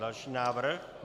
Další návrh.